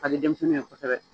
Kadi denmisɛnninw ye kosɛbɛ